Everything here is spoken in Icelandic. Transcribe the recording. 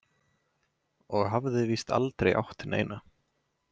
Og hafði víst aldrei átt neina.